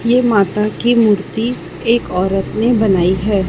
ये माता की मूर्ति एक औरत ने बनाई हैं।